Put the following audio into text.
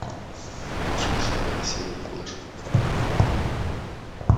включи седьмая серия флэш